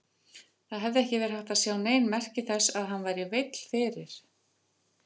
Það hafði ekki verið hægt að sjá nein merki þess að hann væri veill fyrir.